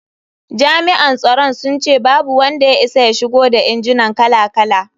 Jami’an tsaron sun ce babu wanda ya isa ya shigo da injinan kala-kala.